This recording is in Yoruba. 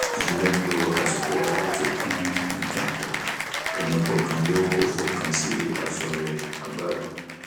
a jọ ń lo àsìkò wa láti kun nǹkan pọ ẹnì kọọkan yóó fọkàn sí aṣọ rẹ àá gbádùn